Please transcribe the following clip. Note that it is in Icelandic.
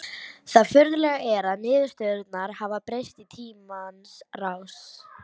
Það furðulega er að niðurstöðurnar hafa breyst í tímans rás.